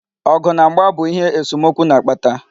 Ọgụ na mgba bu ihe esomokwu na-akpata.